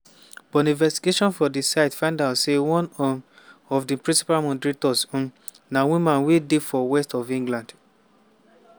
but di investigation for di site find out say one um of di principal moderators um na woman wey dey for west of england.